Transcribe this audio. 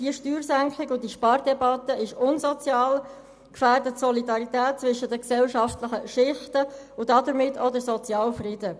Diese Steuersenkung und die Spardebatte sind unsozial, gefährden die Solidarität zwischen den gesellschaftlichen Schichten und damit auch den sozialen Frieden.